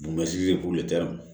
Bugunsi ye k'u